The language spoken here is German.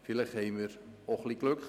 Vielleicht hatten wir auch etwas Glück.